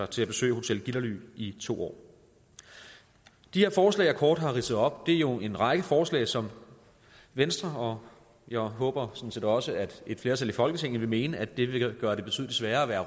til at besøge hotel gitterly i to år de forslag jeg kort har ridset op her er jo en række forslag som venstre bakker jeg håber sådan set også at et flertal i folketinget vil mene at det vil gøre det betydelig sværere at være